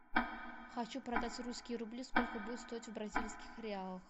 хочу продать русские рубли сколько будет стоить в бразильских реалах